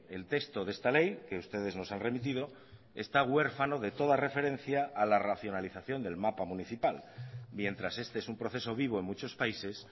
el texto de esta ley que ustedes nos han remitido está huérfano de toda referencia a la racionalización del mapa municipal mientras este es un proceso vivo en muchos países